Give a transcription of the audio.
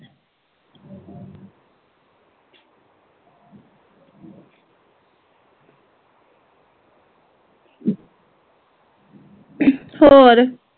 ਹੋਰ